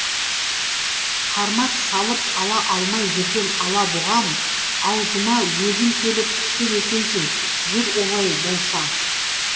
қармақ салып ала алмай жүрген алабұғам аузыма өзің келіп түскен екенсің жүр олай болса